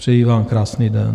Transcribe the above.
Přeji vám krásný den.